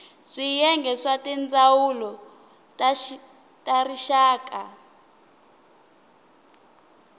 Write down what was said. swiyenge swa tindzawulo ta rixaka